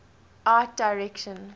art direction